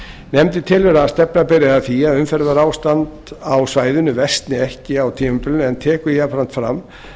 nefndin telur að stefna beri að því að umferðarástand á svæðinu versni ekki á tímabilinu en tekur jafnframt fram